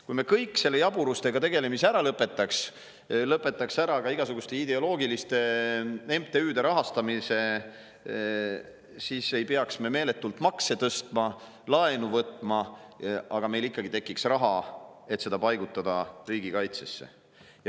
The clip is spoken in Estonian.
Kui me kõik selle jaburustega tegelemise ära lõpetaksime, samuti igasuguste ideoloogiliste MTÜ-de rahastamise, siis ei peaks me meeletult makse tõstma ega laenu võtma, aga meil tekiks ikkagi raha, mida paigutada riigikaitsesse.